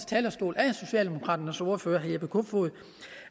talerstol af socialdemokraternes ordfører herre jeppe kofod